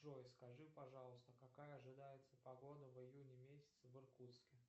джой скажи пожалуйста какая ожидается погода в июне месяце в иркутске